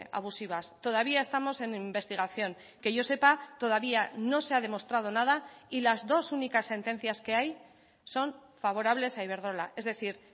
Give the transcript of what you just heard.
abusivas todavía estamos en investigación que yo sepa todavía no se ha demostrado nada y las dos únicas sentencias que hay son favorables a iberdrola es decir